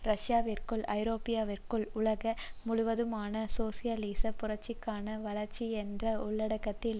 ரஷ்யாவிற்குள் ஐரோப்பாவிற்குள் உலக முழுவதுமான சோசியலிச புரட்சிக்கான வளர்ச்சி என்ற உள்ளடக்கத்தில்